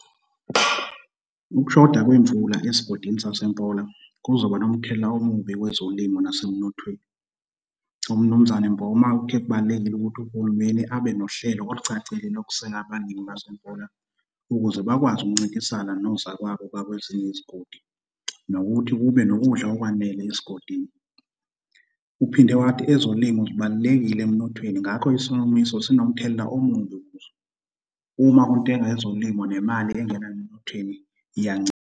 Ukushoda kwemvula esigodini saseMpola kuzoba nomthelela omubi kwezolimo nasemnothweni. UMnumzane Mboma uthe kubalulekile ukuthi uhulumeni abe nohlelo olucacile lokuseka abalimi baseMpola ukuze bakwazi ukuncintisana nozakwabo bakwezinye yizigodi, nokuthi kube nokudla okwanele esigodini. Uphinde wathi ezolimo zibalulekile emnothweni, ngakho isomiso sinomthelela omumbi kuzo. Uma kuntenga ezolimo nemali engena emnotheni iyancipha.